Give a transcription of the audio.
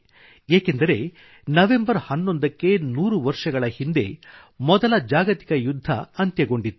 ಏಕೆಂದರೆ ನವಂಬರ್ 11ಕ್ಕೆ ನೂರು ವರ್ಷಗಳ ಹಿಂದೆ ಮೊದಲ ಜಾಗತಿಕ ಯುದ್ಧ ಅಂತ್ಯಗೊಂಡಿತ್ತು